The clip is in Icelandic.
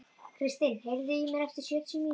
Kristin, heyrðu í mér eftir sjötíu mínútur.